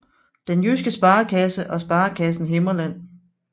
Den Jyske Sparekasse og Sparekassen Himmerland